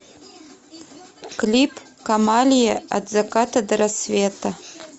клип камалия от заката до рассвета